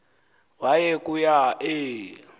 waya kuaa e